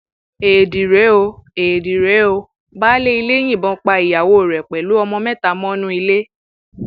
éèdì rèé éèdì rèé ó baáálé ilé yìnbọn pa ìyàwó rẹ pẹlú ọmọ mẹta mọnú ilé